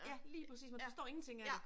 Ja lige præcis man forstår ingenting af det